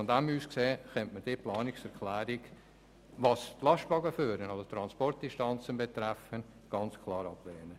Daher könnte man diese Planungserklärung bezüglich Transportdistanzen und Lastwagenfuhren ganz klar ablehnen.